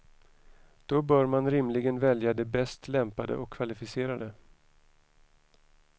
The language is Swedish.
Då bör man rimligen välja de bäst lämpade och kvalificerade.